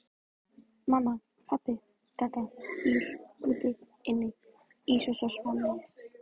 Mamma, pabbi, detta, bíll, úti, inni, ís og svo framvegis